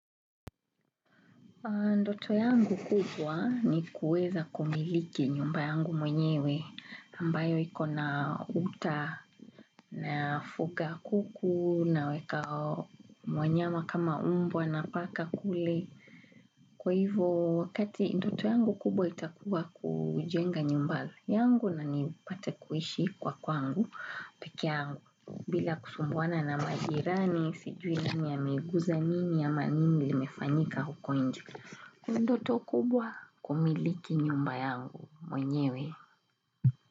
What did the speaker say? Ndoto yangu kubwa ni kuweza kumiliki nyumba yangu mwenyewe ambayo iko na uta nafuga kuku naweka wanyama kama mbwa na paka kule. Kwa hivyo wakati ndoto yangu kubwa itakuwa kujenga nyumba yangu na nipate kuishi kwa kwangu pekee yangu. Bila kusumbuana na majirani sijui nini ameguza nini ama nini limefanyika huko nje. Ni ndoto kubwa kumiliki nyumba yangu mwenyewe.